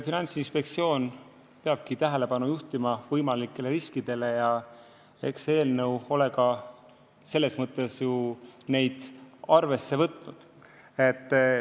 Finantsinspektsioon peabki võimalikele riskidele tähelepanu juhtima ja eks see eelnõu ole neid ju ka arvesse võtnud.